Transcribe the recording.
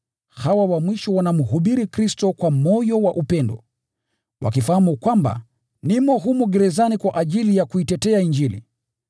Hawa wa mwisho wanamhubiri Kristo kwa moyo wa upendo, wakifahamu kwamba nimo humu gerezani kwa ajili ya kuitetea Injili.